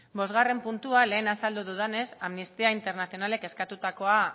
bosgarren puntua lehen azaldu dudanez amnistía internacionalek eskatutakoa